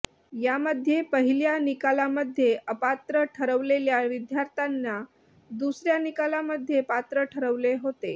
यामध्ये पहिल्या निकालामध्ये अपात्र ठरवलेल्या विद्यार्थ्यांना दुसऱ्या निकालामध्ये पात्र ठरवले होते